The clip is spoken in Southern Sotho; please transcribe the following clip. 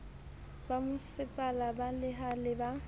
bomasepala ba lehae le ba